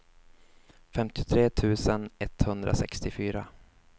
femtiotre tusen etthundrasextiofyra